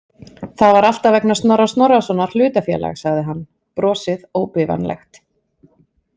Það var alltaf vegna Snorra Snorrasonar hlutafélag, sagði hann, brosið óbifanlegt.